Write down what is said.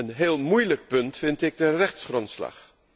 Een heel moeilijk punt vind ik de rechtsgrondslag.